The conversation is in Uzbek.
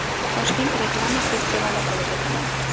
Toshkent reklama festivali bo‘lib o‘tadi!.